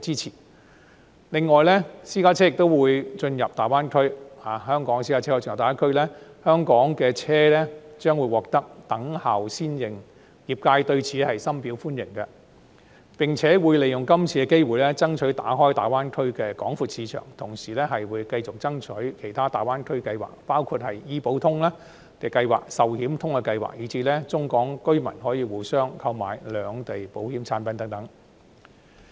此外，香港的私家車亦可進入大灣區，香港車輛將獲得"等效先認"，業界對此深表歡迎，並且會利用是次機會，爭取打開大灣區的廣闊市場，同時繼續爭取其他大灣區計劃，包括醫保通計劃、壽險通計劃，以至中港居民可互相購買兩地保險產品等。